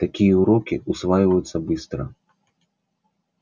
такие уроки усваиваются быстро